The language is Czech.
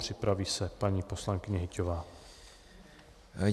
Připraví se paní poslankyně Hyťhová.